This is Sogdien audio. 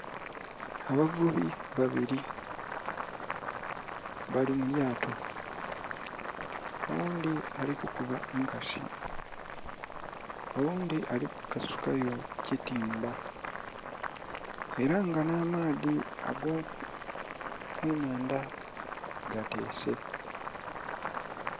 Abavubi babili bali mu lyato. Oghundhi ali kukuba nkasi, oghundhi ali kukasukayo kitimba. Ela nga nh'amaadhi ag'okunhandha gateese.